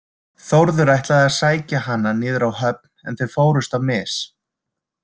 Þórður ætlaði að sækja hana niður á höfn en þau fórust á mis.